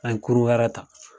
An ye kurun wɛrɛ ta.